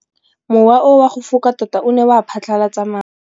Mowa o wa go foka tota o ne wa phatlalatsa maru.